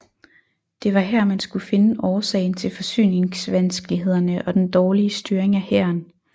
Det var her man skulle finde årsagen til forsyningsvanskelighederne og den dårlige styring af hæren